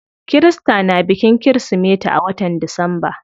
Kirista na bikin kirismeti a watan disamba.